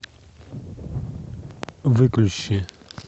выключи